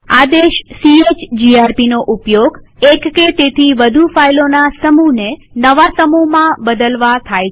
આદેશ chgrpનો ઉપયોગ એક કે તેથી વધુ ફાઈલોના સમુહને નવા સમૂહમાં બદલવા થાય છે